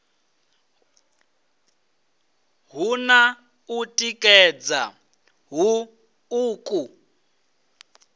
hu na u tikedza huṱuku